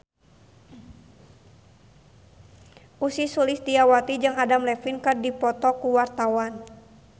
Ussy Sulistyawati jeung Adam Levine keur dipoto ku wartawan